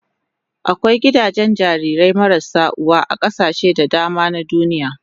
Akwai gidajen jarirai marasa uwa a kasashe da dama na duniya.